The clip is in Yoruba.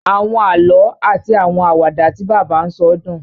Àwọn àlọ ati àwọn Àwàdà tí bàbá n sọ dùn